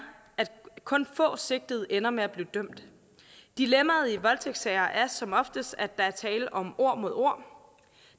at kun få sigtede ender med at blive dømt dilemmaet i voldtægtssager er som oftest at der er tale om ord mod ord